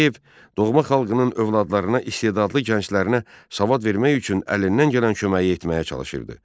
Tağıyev doğma xalqının övladlarına, istedadlı gənclərinə savad vermək üçün əlindən gələn köməyi etməyə çalışırdı.